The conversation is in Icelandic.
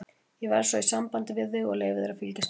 Ég verð svo í sambandi við þig og leyfi þér að fylgjast með.